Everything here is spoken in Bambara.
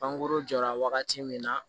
Pankurun jɔra wagati min na